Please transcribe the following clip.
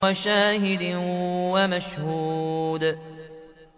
وَشَاهِدٍ وَمَشْهُودٍ